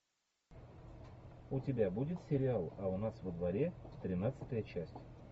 у тебя будет сериал а у нас во дворе тринадцатая часть